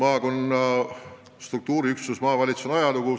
Jah, maakonna juhtimise struktuuriüksus maavalitsus on ajalugu.